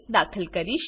દાખલ કરીશ